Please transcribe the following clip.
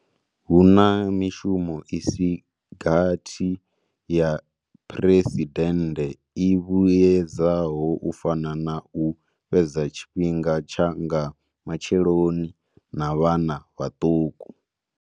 Hu na mishumo i si gathi ya phresidennde i vhuedzaho u fana na u fhedza tshifhinga tsha nga matsheloni na vhana vhaṱuku.